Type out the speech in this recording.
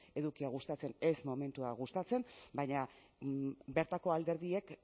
edukia gustatzen ez momentua gustatzen baina bertako alderdiek